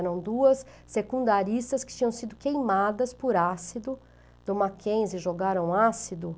Eram duas secundaristas que tinham sido queimadas por ácido, do Mackenzie, jogaram ácido